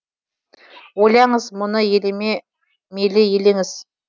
ойлаңыз мұны елеме мейлі елеңіз